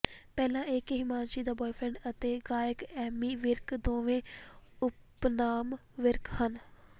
ਪਹਿਲਾ ਇਹ ਕਿ ਹਿਮਾਂਸ਼ੀ ਦਾ ਬੁਆਏਫ੍ਰੈਂਡ ਅਤੇ ਗਾਇਕ ਐਮੀ ਵਿਰਕ ਦੋਵੇਂ ਉਪਨਾਮ ਵਿਰਕ ਹਨ